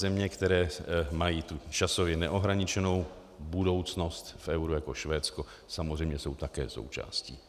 Země, které mají tu časově neohraničenou budoucnost v euru, jako Švédsko, samozřejmě jsou také součástí.